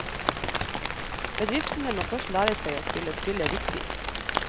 Bedriftene må først lære seg å spille spillet riktig.